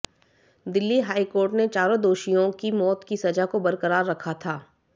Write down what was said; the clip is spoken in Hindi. दिल्ली हाईकोर्ट ने चारों दोषियों की मौत की सजा को बरकरार रखा था